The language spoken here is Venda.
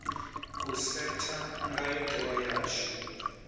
u setha ndayo tewa yashu